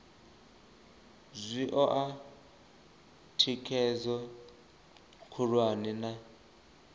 zwi oa thikhedzo khulwane na